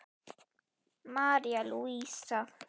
María Lúísa.